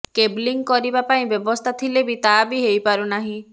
cabling କରିବା ପାଇଁ ବ୍ୟବସ୍ଥା ଥିଲେ ବି ତା ବି ହୋଇପାରୁ ନାହିଁ